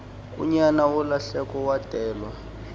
unyana wolahleko wadelwa